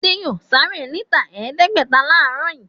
Adé yóò sáré níta ẹ̀ẹ́dẹ́gbẹ̀ta láàárọ̀ yìí.